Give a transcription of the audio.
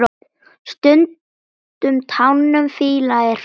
Stundum tánum fýla er frá.